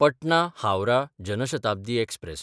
Patna Howrah Jan Shatabdi express